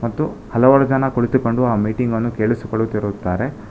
ತ್ತು ಹಲವಾರು ಜನ ಕುಳಿತುಕೊಂಡು ಆ ಮೀಟಿಂಗ್ ಅನ್ನು ಕೇಳಿಸಿಕೊಳ್ಳುತ್ತಿರುತ್ತಾರೆ.